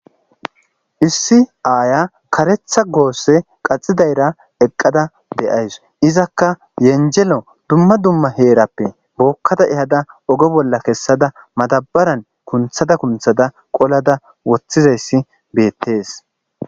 Issi aaya kareththa goosse qaxidayra eqqada de'ayssu. Izakka yenjjelo dumma dumma heerappe bookkada ehada oge bolla kessada madabaran kunththada kunththada qolada woththizayssi beettes.